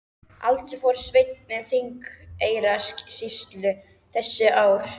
Aldrei fór Sveinn um Þingeyjarsýslur þessi ár.